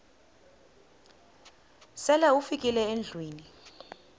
sele ufikile endlwini